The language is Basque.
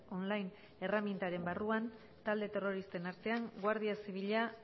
online erremintaren barruan talde terroristen artean guardia zibila